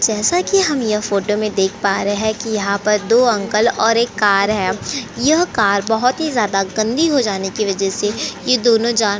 जैसा कि हम यह फोटो में देख पा रहे हैं कि यहाँ पर दो अंकल और एक कार है। यह कार बहुत ही ज्यादा गंदी हो जाने की वजह से ये दोनों जान --